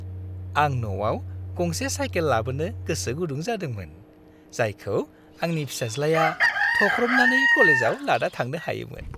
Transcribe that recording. आं न'आव गंसे साइकेल लाबोनो गोसो गुदुं जादोंमोन, जायखौ आंनि फिसाज्लाया थख्रबनानै क'लेजाव लाना थांनो हायोमोन।